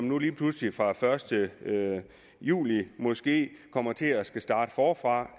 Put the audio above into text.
nu lige pludselig fra første juli måske kommer til at skulle starte forfra